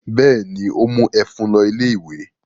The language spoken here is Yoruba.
Bẹ́ẹ̀ ni, ó mú ẹ̀fún lọ ilé-ìwé.